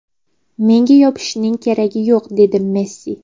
Menga yopishishning keragi yo‘q”, dedi Messi.